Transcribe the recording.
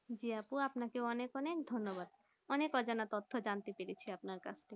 জি আপু আমিনাকে অনেক অনেক ধন্যবাদ অনেক অজানা তথ্য যানতে পেরেছি আপনার কাছ থেকে